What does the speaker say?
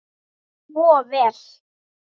Svo vel.